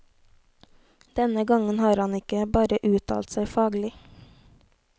Denne gangen har han ikke bare uttalt seg faglig.